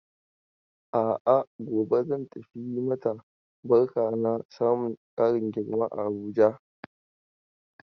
A'a ,gobe zan tafi in yi mata barka na samun ƙarin girman a Abuja.